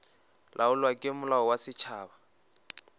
laolwa ke molao wa setšhaba